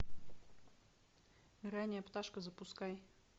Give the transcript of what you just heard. ранняя пташка запускай